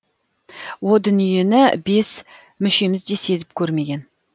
о дүниені бес мүшеміз де сезіп көрмеген